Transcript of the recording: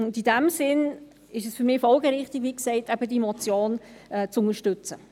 Und in diesem Sinn ist es für mich, wie gesagt, folgerichtig, diese Motion zu unterstützen.